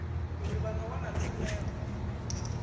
uri vha ḓo wana tshumelo